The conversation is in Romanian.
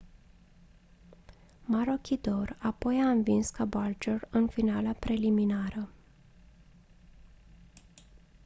maroochydore apoi a învins caboolture în finala preliminară